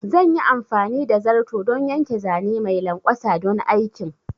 Zan yi amfani da zarto don yanke zane mai lanƙwasa don aikin